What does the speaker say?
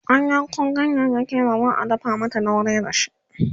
an Yanko ganyayaki da za'a dafa mata dauri dashi